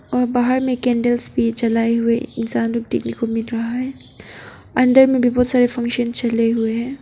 और बाहर में कैंडल्स भी जलाए हुए इंसान लोग देखने को मिल रहा है अंदर में बहुत सारे फंक्शन चले हुए है।